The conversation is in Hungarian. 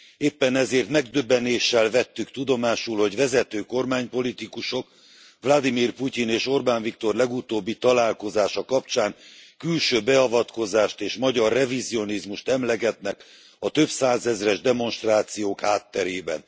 Éppen ezért megdöbbenéssel vettük tudomásul, hogy vezető kormánypolitikusok Vlagyimir Putyin és Orbán Viktor legutóbbi találkozása kapcsán külső beavatkozást és magyar revizionizmust emlegetnek a több százezres demonstrációk hátterében.